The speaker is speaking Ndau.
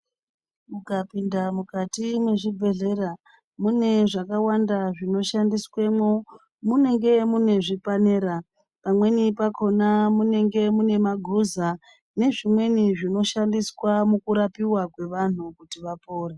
Ukapinda mukati mezvibhedhlera ,mune zvakawanda zvinoshandiswemwo. Munenge mune zvipanera ,pamweni pakhona munenge mune maguza nezvimweni zvinoshandiswa mukurapiwa kwevanhu kuti vapore.